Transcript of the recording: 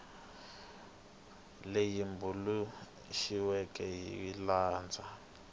leyi tumbuluxiweke hi ku landza